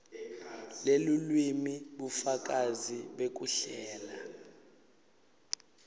lelulwimi bufakazi bekuhlela